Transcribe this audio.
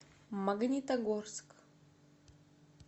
магнитогорск